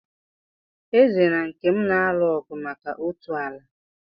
Eze na Nkem na-alụ ọgụ maka otu ala.